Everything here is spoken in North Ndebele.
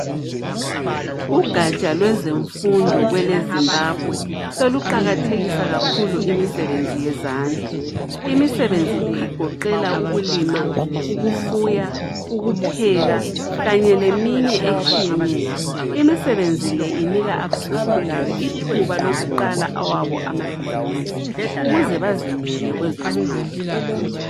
Ugatsha lwezemfundo kwelezimbabwe soluqakathekisa kakhulu imisebenzi yezandla. Imisebenzi le igoqela ukulima , ukufuya ukupheka kanye leminye etshiyeneyo. imisebenzi le inika abasakhulayo ithuba lokuqala awabo amabizinesi ukuze bazimele kwezomnotho.